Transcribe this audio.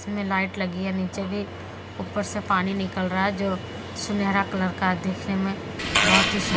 इसमें लाइट लगी है नीचे देख ऊपर से पानी निकल रहा है जो सुनहरा कलर का दिखने में बहोत ही सुन--